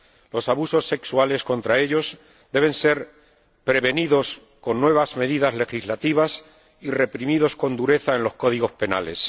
Los abusos sexuales contra ellos deben ser prevenidos con nuevas medidas legislativas y reprimidos con dureza en los códigos penales.